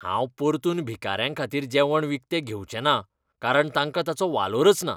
हांव परतून भिकाऱ्यांखातीर जेवण विकतें घेवचेंना कारण तांकां ताचो वालोरच ना.